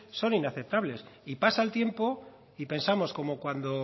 son inaceptables y pasa el tiempo y pensamos como cuando